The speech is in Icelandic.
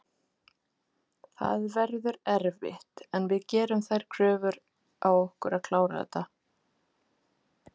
Það verður erfitt en við gerum þær kröfur á okkur að klára þetta.